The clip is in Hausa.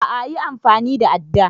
A'a yi amfani da adda